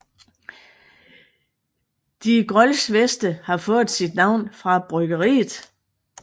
De Grolsch Veste har fået sit navn fra bryggeriet